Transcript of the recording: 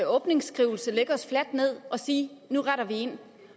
åbningsskrivelse lægge os fladt ned og sige nu retter vi ind